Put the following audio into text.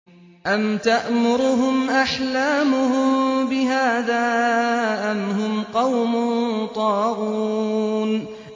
أَمْ تَأْمُرُهُمْ أَحْلَامُهُم بِهَٰذَا ۚ أَمْ هُمْ قَوْمٌ طَاغُونَ